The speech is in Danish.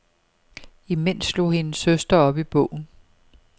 Imens slog hendes søster op i bogen.